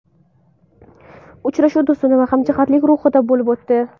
Uchrashuv do‘stona va hamjihatlik ruhida bo‘lib o‘tdi.